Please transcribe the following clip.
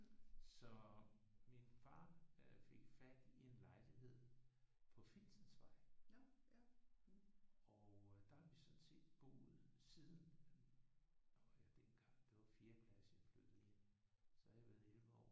Så min far øh fik fat i en lejlighed på Finsensvej og øh der har vi sådan set boet siden. Og jeg var dengang det var fjerde klasse jeg flyttede ind. Så har jeg været 11 år